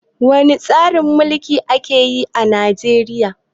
Wani tsarin mulki ake yi a Najeriya?